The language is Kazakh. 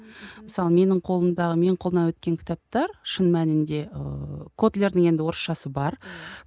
мысалы менің қолымда менің қолымнан өткен кітаптар шын мәнінде ыыы котлердің енді орысшасы бар